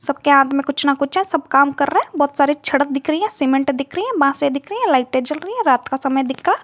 सबके हाथ में कुछ ना कुछ है सब काम कर रहा है बहुत सारे सड़क दिख रही है सीमेंट दिख रही है बासे दिख रही है लाइटे जल रही है रात का समय दिख रहा।